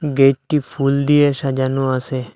গেটটি ফুল দিয়ে সাজানো আসে।